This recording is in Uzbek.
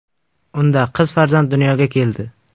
Unda qiz farzand dunyoga keldi.